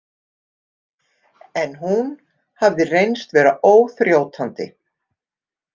En hún hafði reynst vera óþrjótandi.